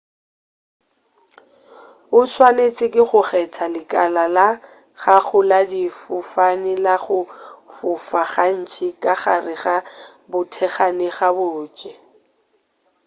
o swanetše go kgetha lekala la gago la difofane la go fofa gantši ka gare ga bothekgane gabotse